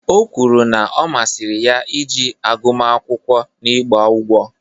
O kwuru na ọ masịrị ya iji agụmakwụkwọ n'ịgba ụgwọ